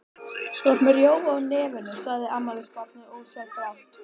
Þú ert með rjóma á nefinu, sagði afmælisbarnið ósjálfrátt.